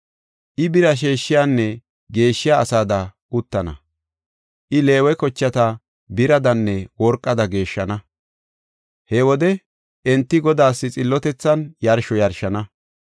I bira sheeshiyanne geeshshiya asada uttana. I Leewe kochata biradanne worqada geeshshana. He wode enti Godaas xillotethan yarsho yarshana.